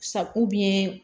Sa